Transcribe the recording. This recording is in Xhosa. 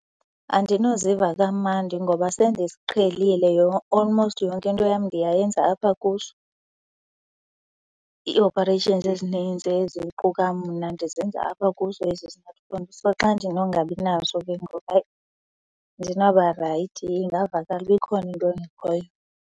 Andinoziva kamandi ngoba sendiqhelile almost yonke into yam ndiyayenza apha kuso. Ii-operations ezininzi eziquka mna ndizenza apha kuso esi smartphone. So, xa ndinongabinaso ke ngoku, hayi, andinoba right ingavakala ukuba ikhona into engekhoyo.